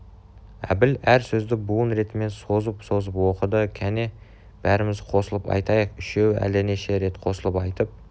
әбіл әр сөзді буын ретімен созып-созып оқыды кәне бәріміз қосылып айтайық үшеуі әлденеше рет қосылып айтып